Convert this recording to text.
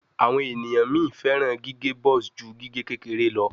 Awon eniyan mi feran gige buzz ju gige kekere lọ